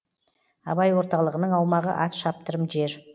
абай орталығының аумағы ат шаптырым жер